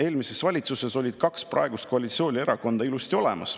Eelmises valitsuses olid kaks praegust koalitsioonierakonda ilusti olemas.